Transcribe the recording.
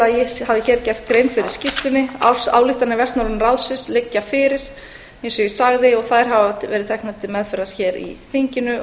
að ég hafi hér gert grein fyrir skýrslunni ársályktanir vestnorræna ráðsins liggja fyrir eins og ég sagði og þær hafa verið teknar til meðferðar hér í þinginu